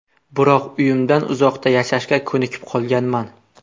Biroq uyimdan uzoqda yashashga ko‘nikib qolganman.